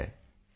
ਤਮਿਲ ਵਿੱਚ ਜਵਾਬ